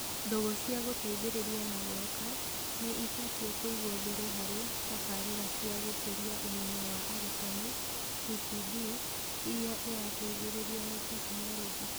Ndũgũ cia gũteithĩrĩria na gwaka nĩ ibatie kũigwo mbere harĩ tabarĩra cia gũkũria ũmenyo wa arutani (TPD) irĩa ĩrateithĩrĩrio nĩ tekinoronjĩ.